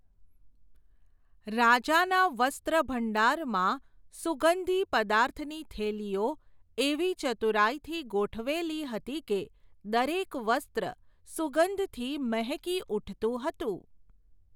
રાજાના વસ્ત્રભંડારમાં, સુગંધી પદાર્થની થેલીઓ એવી ચતુરાઈથી ગોઠવેલી હતી કે, દરેક વસ્ત્ર સુગંધથી મહેકી ઊઠતું હતું.